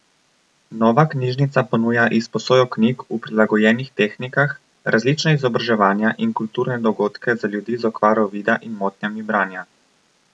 Nova knjižnica ponuja izposojo knjig v prilagojenih tehnikah, različna izobraževanja in kulturne dogodke za ljudi z okvaro vida in motnjami branja.